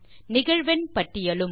நிகழ்வெண் பட்டியலும்